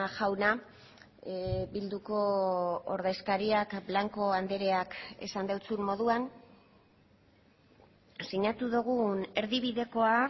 jauna bilduko ordezkariak blanco andreak esan dizun moduan sinatu dugun erdibidekoa